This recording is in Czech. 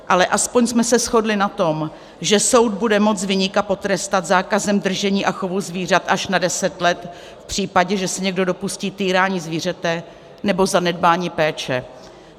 Ale aspoň jsme se shodli na tom, že soud bude moci viníka potrestat zákazem držení a chovu zvířat až na deset let v případě, že se někdo dopustí týrání zvířete nebo zanedbání péče.